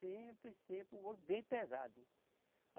Sempre, sempre o ouro bem pesado.